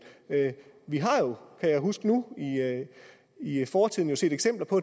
vi har jo kan jeg huske nu i i fortiden set eksempler på